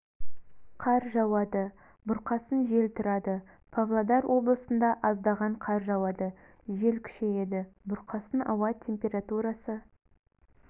қар жауады бұрқасын жел тұрады павлодар облысында аздаған қар жауады жел күшейеді бұрқасын ауа температурасы